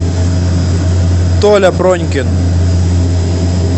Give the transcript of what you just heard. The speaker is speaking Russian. толя пронькин